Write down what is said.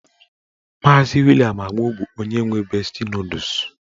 Maazi William Agbo bụ onye nwe besti nọdụs.